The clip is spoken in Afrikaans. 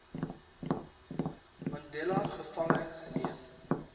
mandela gevange geneem